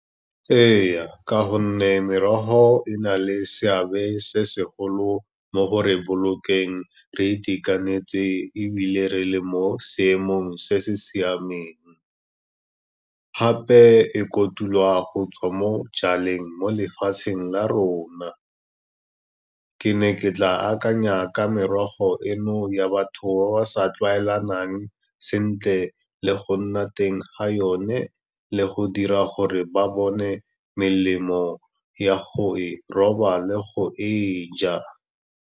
Ee, ka gonne merogo e na le seabe se segolo mo go re bolokeng re itekanetse ebile re le mo seemong se se siameng, gape e kotulwa go tswa mo jaleng mo lefatsheng la rona. Ke ne ke tla akanya ka merogo eno ya batho ba ba sa tlwaelanang sentle le go nna teng ga yone, le go dira gore ba bone melemo ya go roba le go e ja.